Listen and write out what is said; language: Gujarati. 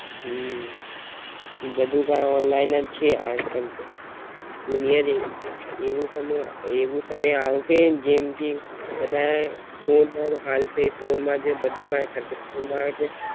હમ બધુ કાઈ online જ છે આજકલ તો, દુનિયા જે એવું સમય એવું સમય આવસે જેમ કે બધાય ફોન પર હાલસે ફોન માં જે બધું કાય કરસે.